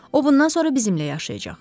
O bundan sonra bizimlə yaşayacaq.